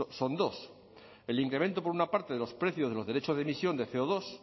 son dos el incremento por una parte de los precios de los derechos de emisión de ce o dos